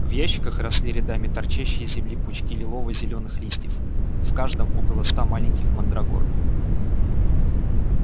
в ящиках росли рядами торчащие из земли пучки лилово-зеленых листьев в каждом около ста маленьких мандрагор